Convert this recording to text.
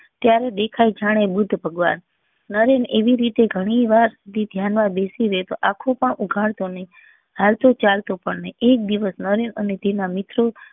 ત્યારે દેખાય જાને બુદ્ધ ભગવાન નરેન એવી રીતે ગણી વાર ધ્યાન માં બેસી રેતો આંખો પણ ઉગાડતો નહિ હાલતો ચાલતો પણ નહી એક દિવસ નરેન અને તેના મિત્રો